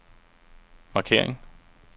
markering